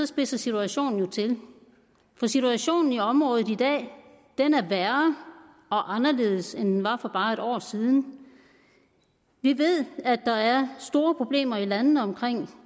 spidser situationen jo til for situationen i området i dag er værre og anderledes end den var for bare et år siden vi ved at der er store problemer i landene omkring